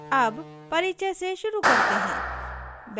अब परिचय से शुरू करते हैं